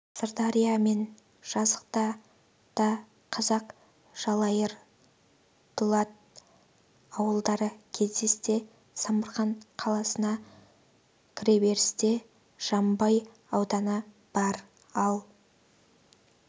сырдария мен жызақта да қазақ жалайыр дұлат ауылдары кездессе самарқан қаласына кіреберісте жамбай ауданы бар ал